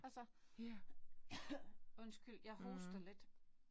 Altså undskyld jeg hoster lidt